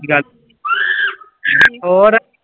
ਹੋਰ